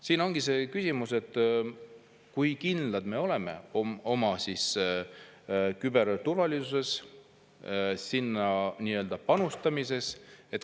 Siin ongi see küsimus, kui kindlad me oleme oma küberturvalisuses ja sinna panustamises.